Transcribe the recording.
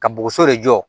Ka bɔgɔso de jɔ